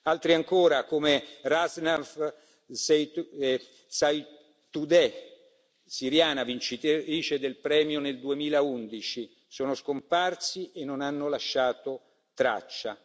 Altri ancora, come Razan Zeitouneh, siriana, vincitrice del premio nel 2011, sono scomparsi e non hanno lasciato traccia.